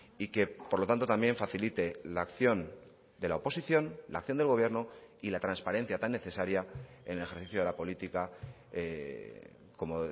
y que por lo tanto también facilite la acción de la oposición la acción del gobierno y la transparencia tan necesaria en el ejercicio de la política como